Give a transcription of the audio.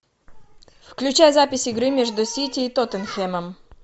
включай запись игры между сити и тоттенхэмом